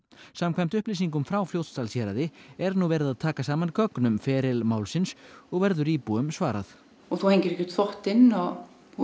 samkvæmt upplýsingum frá Fljótsdalshéraði er nú verið að taka saman gögn um feril málsins og verður íbúum svarað og þú hengir ekki út þvottinn og þú